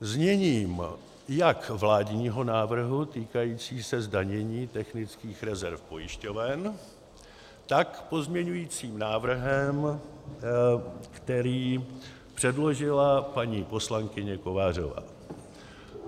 zněním jak vládního návrhu týkajícího se zdanění technických rezerv pojišťoven, tak pozměňujícím návrhem, který předložila paní poslankyně Kovářová.